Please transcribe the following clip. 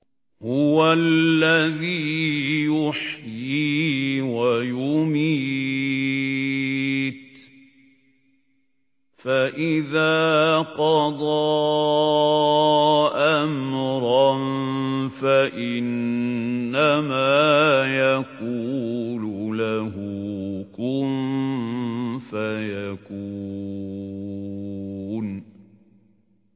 هُوَ الَّذِي يُحْيِي وَيُمِيتُ ۖ فَإِذَا قَضَىٰ أَمْرًا فَإِنَّمَا يَقُولُ لَهُ كُن فَيَكُونُ